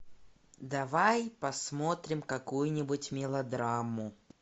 давай посмотрим какую нибудь мелодраму